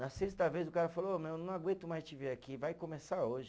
Nas sexta vez o cara falou, ô meu, não aguento mais te ver aqui, vai começar hoje.